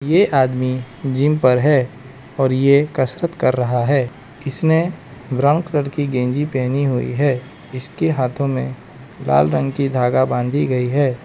ये आदमी जिम पर है और ये कसरत कर रहा है इसने ब्राउन कलर की गंजी पहनी हुई है इसके हाथों में लाल रंग की धागा बांधी गई है।